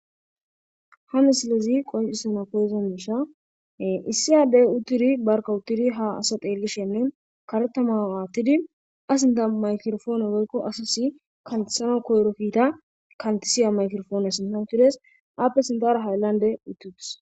ha misilezi qoncissana koyza mishan issi yaaddey utturi barka utturi ha asa xeelishenne karetama aattidi asinta maykrofoone woykko asasi kantisano koyrokiita kantisiya maykirofoone sinta utures aappe sintara hayllande utti utis